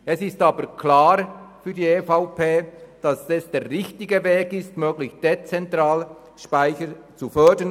Es ist aber für die EVP klar, dass es der richtige Weg ist, möglichst dezentrale Speichersysteme zu fördern.